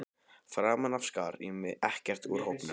Framan af skar ég mig ekkert úr hópnum.